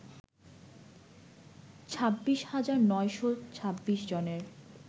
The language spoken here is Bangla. ২৬ হাজার ৯শ ২৬ জনের